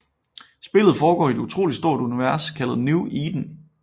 Spillet foregår i et utroligt stort univers kaldet New Eden